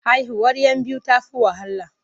Haihuwar 'yan biyu ta fi wahala.